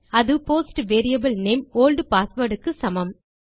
அது post variable name old password க்கு சமம்